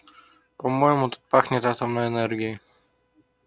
по-моему тут пахнет атомной энергией